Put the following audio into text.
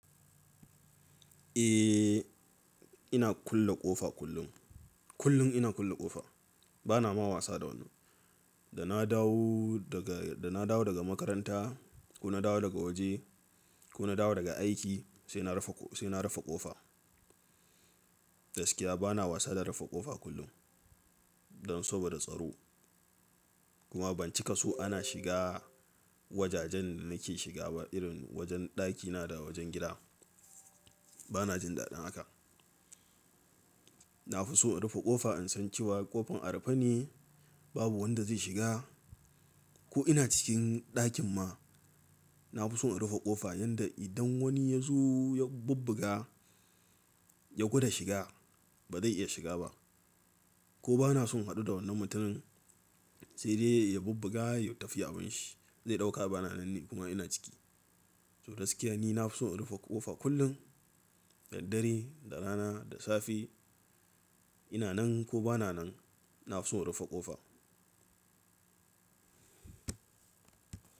Eh, ina kulle ƙofa kullum. Kullum ina kulle ƙofa. Bana ma wasa da wani. Da na dawo daga, da na dawo daga makaranta ko na dawo daga waje ko na dawo daga aiki sai na rufe, sai na rufe ƙofa. Gaskiya bana wasa da rufe ƙofa kullum don saboda tsaro. Kuma ban cika so ana shiga wajajen da nake shiga ba irin wajen ɗakina da wajen gida. Bana jin daɗin haka. Na fi so in rufe ƙofa in san cewa ƙofar a rufe ne babu wanda zai shiga. Ko ina cikin ɗakin ma, na fi so in rufe ƙofa yadda idan wani ya zo ya bubbuga ya gwada shiga ba zai iya shiga ba. Ko bana son haɗu da wannan mutumin sai dai ya bubbuga ya tafi ya ban shi zai ɗauka bana nan kuma ina ciki. To gaskiya ni na fi so in rufe ƙofa kullum da dare, da rana, da safe. Ina nan ko ba na nan, na fi so in rufe ƙofa.